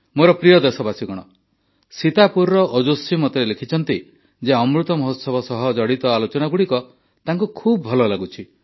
ମୋର ପ୍ରିୟ ଦେଶବାସୀଗଣ ସୀତାପୁରର ଓଜସ୍ୱୀ ମୋତେ ଲେଖିଛନ୍ତି ଯେ ଅମୃତ ମହୋତ୍ସବ ସହ ଜଡ଼ିତ ଆଲୋଚନାଗୁଡ଼ିକ ତାଙ୍କୁ ଖୁବ ଭଲ ଲାଗୁଛି